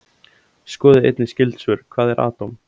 Skoðið einnig skyld svör: Hvað er atóm?